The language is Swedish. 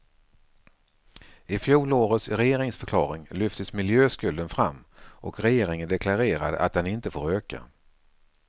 I fjolårets regeringsförklaring lyftes miljöskulden fram och regeringen deklararade att den inte får öka.